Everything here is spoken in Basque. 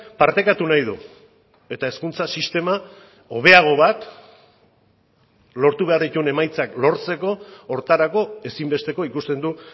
partekatu nahi du eta hezkuntza sistema hobeago bat lortu behar dituen emaitzak lortzeko horretarako ezinbesteko ikusten du